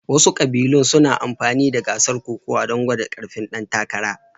Wasu ƙabilun suna amfani da gasar kokawa don gwada ƙarfin ɗan takara